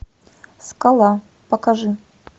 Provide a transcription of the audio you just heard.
скала покажи